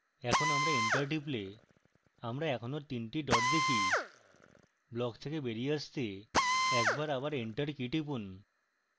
এখন আমরা enter টিপলে আমরা এখনও তিনটি dots দেখি ব্লক থেকে বেরিয়ে আসতে একবার আবার enter টিপুন